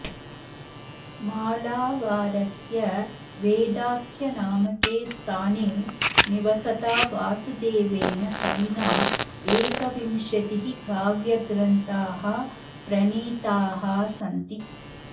मालावारस्य वेदाख्यनामके स्थाने निवसता वासुदेवेन कविना एकविंशतिः काव्यग्रन्थाः प्रणीताः सन्ति